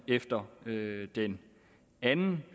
efter den anden